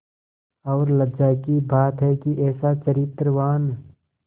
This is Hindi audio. और लज्जा की बात है कि ऐसा चरित्रवान